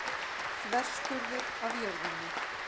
Þverskurður af jörðinni.